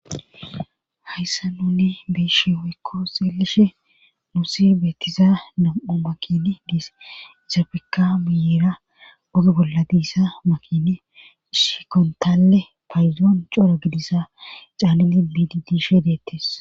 Hayssa nuni beeshe hoykko seelishe nuusi beettiza nam7o makini diis izafeka miyiira ogo bolla diissa makini shikontalle payzoon coro gidissa caalliti biidi dishe deettes.